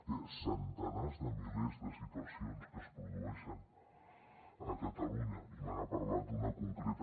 hi ha centenars de milers de situacions que es produeixen a catalunya i me n’ha parlat d’una concreta